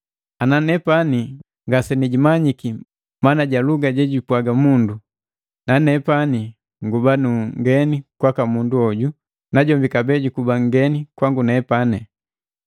Ana nepani ngasenijimanyi mana ja luga jejupwaga mundu, nanepani nguba nu nngeni kwaka mundu hoju najombi kabee jukuba nngeni kwango.